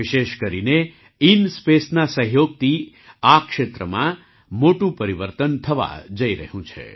વિશેષકરીને INSpaceના સહયોગથી આ ક્ષેત્રમાં મોટું પરિવર્તન થવા જઈ રહ્યું છે